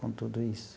Com tudo isso.